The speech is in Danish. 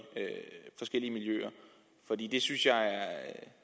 forskellige miljøer det synes jeg er